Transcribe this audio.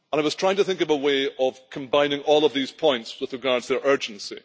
I was trying to think of a way of combining all of these points with regard to their urgency.